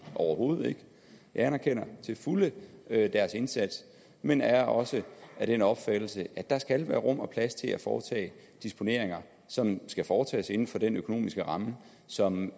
overhovedet ikke jeg anerkender til fulde deres indsats men er også af den opfattelse at der skal være rum og plads til at foretage dispositioner som skal foretages inden for den økonomiske ramme som